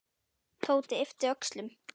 Tóti yppti öxlum.